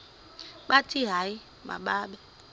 bathi hayi mababe